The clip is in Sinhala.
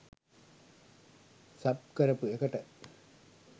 සබ් කරපු එකට